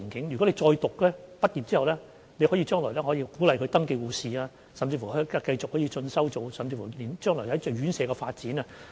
如果再進修，畢業後，將來可以成為登記護士，甚至可以繼續進修，協助院舍發展。